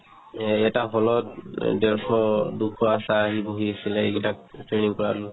এটা hall ত এ ডেৰশ দুশ আশা আহি বহি আছিলে এইকেইটাক training কৰালো